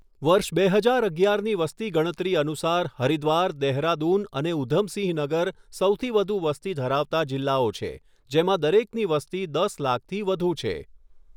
વર્ષ બે હજાર અગિયારની વસ્તી ગણતરી અનુસાર હરિદ્વાર, દહેરાદૂન અને ઉધમસિંહ નગર સૌથી વધુ વસ્તી ધરાવતા જિલ્લાઓ છે, જેમાં દરેકની વસ્તી દસ લાખથી વધું છે.